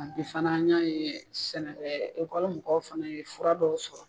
Bi fana y'a ye sɛnɛ mɔgɔw fana ye fura dɔw sɔrɔ.